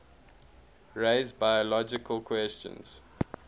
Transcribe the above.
raise biological questions